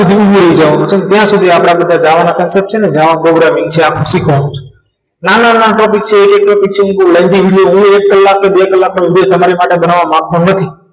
ભૂલી જાવ ત્યાં સુધી આપણે બધા આવાના concept જાવા programming જે આખી નાના નાના topic છે એક એક topic છે એ બહુ lengthy છે હું એક કલાક કે બે કલાકનો video હું તમારી માટે બનાવવા માગતો નથ